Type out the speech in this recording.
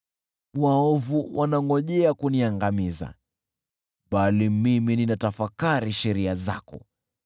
Waovu wanangojea kuniangamiza, bali mimi ninatafakari sheria zako.